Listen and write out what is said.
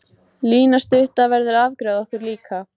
Lína stutta verður að afgreiða okkur líka.